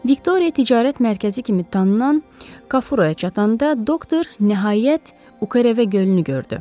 Viktoriya ticarət mərkəzi kimi tanınan Kafuraya çatanda doktor nəhayət Ukerevə gölünü gördü.